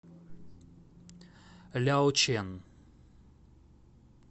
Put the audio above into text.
ляочэн